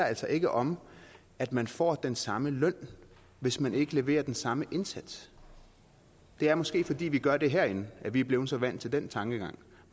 altså ikke om at man får den samme løn hvis man ikke leverer den samme indsats det er måske fordi vi gør det herinde at vi er blevet så vant til den tankegang